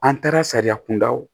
An taara sariya kunda o